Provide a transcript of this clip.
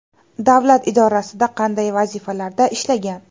Davlat idorasida qanday vazifalarda ishlagan?